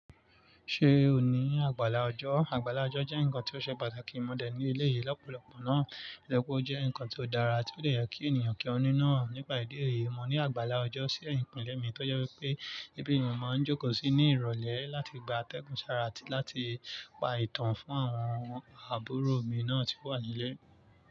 Ṣe o ni àgbàlá ọjọ́? Àgbàlá ọjọ́ jẹ́ ǹkan tí ó ṣe pàtàkì mọ̀dẹ̀ ní elé yìí lọ́pọ̀lọpọ̀ ná. Ìlẹ̀kùn ọ jẹ́ ǹkan tí ó dára a tí ó leè jẹ́ kí ènìyàn kí ọ ní náà. Nípa ìdí èyí, mo ní àgbàlá ọjọ́ sí ẹ̀yìnkúnlẹ̀ mi tí ó jẹ́ wípé ibi tí mo máa ń jókòó sí ní ìrọ̀lẹ́ láti gba atẹ́gùn sára a tí láti pa ìtàn fún àwọn àbúrò mi náà tí ó wà nílé.